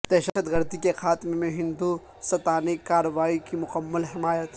دہشت گردی کے خاتمہ میں ہندو ستانی کارروائی کی مکمل حمایت